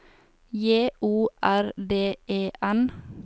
J O R D E N